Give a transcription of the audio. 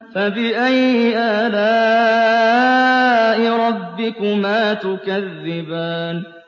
فَبِأَيِّ آلَاءِ رَبِّكُمَا تُكَذِّبَانِ